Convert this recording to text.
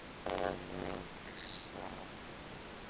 Þar er gott að hugsa